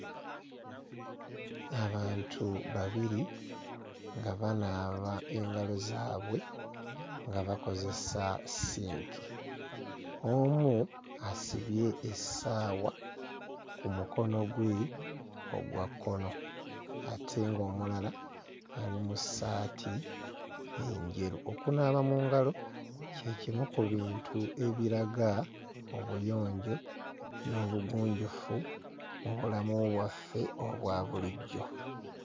Abantu babiri nga banaaba engalo zaabwe nga bakozesa ssinki. Omu asibye essaawa ku mukono gwe ogwa kkono ate ng'omulala ali mu ssaati enjeru. Okunaaba mu ngalo kye kimu ku bintu ebiraga obuyonjo n'obugunjufu mu bulamu bwaffe obwa bulijjo.